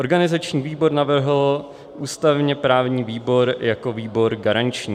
Organizační výbor navrhl ústavně-právní výbor jako výbor garanční.